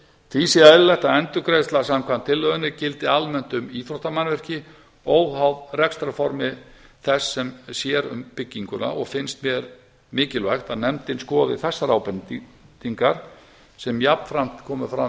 því sé eðlilegt að endurgreiðsla samkvæmt tillögunni gildi almennt um íþróttamannvirki óháð rekstrarformi þess sem sér um bygginguna og finnst mér mikilvægt að nefndin skoði þessar ábendingar sem jafnframt koma fram